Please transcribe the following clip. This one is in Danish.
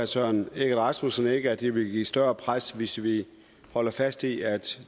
søren egge rasmussen ikke at det vil lægge et større pres hvis vi holder fast i at